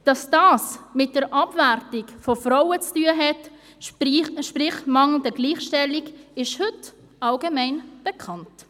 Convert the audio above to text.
Dass dies mit der Abwertung von Frauen zu tun hat, sprich der mangelnden Gleichstellung, ist heute allgemein bekannt.